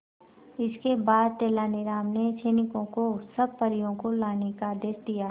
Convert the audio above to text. इसके बाद तेलानी राम ने सैनिकों को सब परियों को लाने का आदेश दिया